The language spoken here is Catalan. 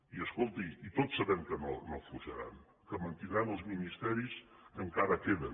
i escolti tots sabem que no afluixaran que mantindran els ministeris que encara queden